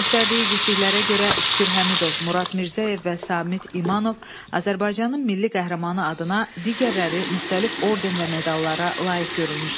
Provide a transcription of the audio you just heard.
Göstərdiyi igidliklərə görə Şükür Həmidov, Murad Mirzəyev və Samid İmanov Azərbaycanın milli qəhrəmanı adına digərləri müxtəlif orden və medallara layiq görülmüşlər.